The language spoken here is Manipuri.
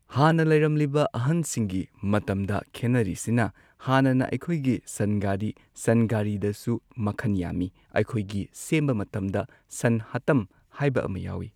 ꯍꯥꯟꯅ ꯂꯩꯔꯝꯂꯤꯕ ꯑꯍꯟꯁꯤꯡꯒꯤ ꯃꯇꯝꯗ ꯈꯦꯟꯅꯔꯤꯁꯤꯅ ꯍꯥꯟꯅꯅ ꯑꯩꯈꯣꯏꯒꯤ ꯁꯟ ꯒꯥꯔꯤ ꯁꯟ ꯒꯥꯔꯤꯗꯁꯨ ꯃꯈꯟ ꯌꯥꯝꯃꯤ ꯑꯩꯈꯣꯏꯒꯤ ꯁꯦꯝꯕ ꯃꯇꯝꯗ ꯁꯟ ꯍꯥꯠꯇꯝ ꯍꯥꯏꯕ ꯑꯃ ꯌꯥꯎꯏ꯫